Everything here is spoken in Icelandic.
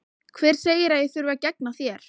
Hver segir að ég þurfi að gegna þér?